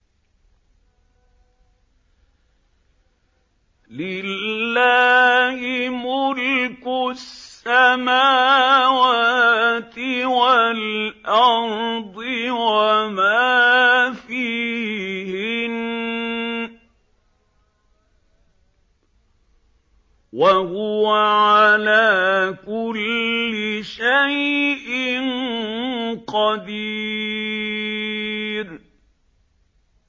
لِلَّهِ مُلْكُ السَّمَاوَاتِ وَالْأَرْضِ وَمَا فِيهِنَّ ۚ وَهُوَ عَلَىٰ كُلِّ شَيْءٍ قَدِيرٌ